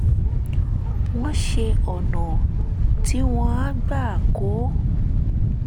wọ́n ṣe ọ̀nà tí wọ́n á gbà kọ́